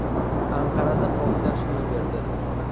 Anqarada portlash yuz berdi.